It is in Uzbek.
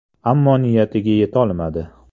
Ammo niyatiga yetolmadi.